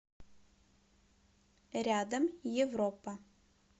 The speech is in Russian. рядом европа